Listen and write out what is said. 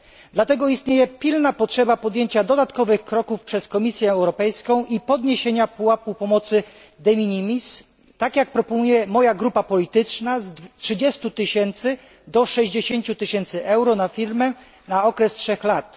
Dlatego istnieje pilna potrzeba podjęcia dodatkowych kroków przez Komisję Europejską i podniesienia pułapu pomocy de minimis tak jak proponuje moja grupa polityczna, z 30 tysięcy do 60 tysięcy euro na firmę, na okres 3 lat.